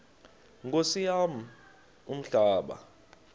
nkosi yam umhlaba